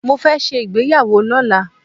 Mo fẹ́ ṣe ìgbéyàwó lọ́la.